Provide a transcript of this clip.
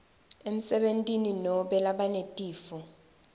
emsebentini nobe labanetifo